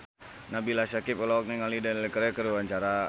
Nabila Syakieb olohok ningali Daniel Craig keur diwawancara